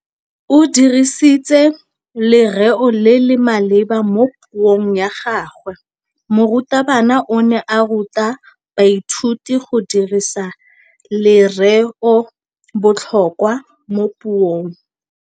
O dirisitse lerêo le le maleba mo puông ya gagwe. Morutabana o ne a ruta baithuti go dirisa lêrêôbotlhôkwa mo puong.